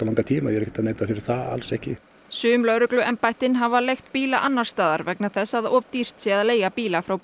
langan tíma ég er ekki að neita fyrir það alls ekki sum lögregluembættin hafi leigt bíla annars staðar vegna þess að of dýrt sé að leigja bíla frá